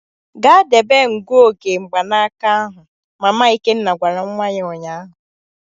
Gaa debe ngụoge mgbanaka ahụ! Mama Ikenna gwara nwa ya ụnyahụ.